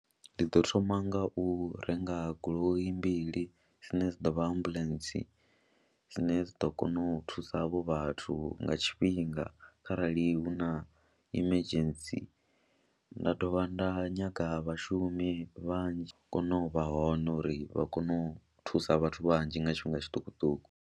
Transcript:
Ndi ḓo thoma nga u renga goloi mbili dzine dza ḓo vha ambuḽentse, dzine dzi ḓo kona u thusa havho vhathu nga tshifhinga kharali hu hu na emergency, nda dovha nda nyaga vhashumi vhanzhi kone u vha hone uri vha kone u thusa vhathu vhanzhi nga tshifhinga tshiṱukuṱuku.